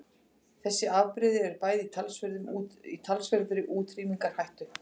Þessi afbrigði eru bæði í talsverðri útrýmingarhættu.